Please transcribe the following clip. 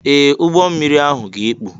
Ee! Ụgbọ mmiri ahụ ga-ekpu.